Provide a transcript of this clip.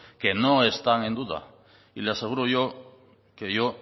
que no están en duda y le aseguro yo que yo